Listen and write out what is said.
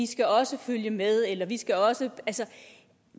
skal også følge med eller vi skal også